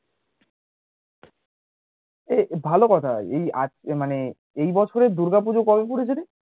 এ ভালো কথা, এই মানে এই বছরের দূর্গা পূজো কবে পড়েছে রে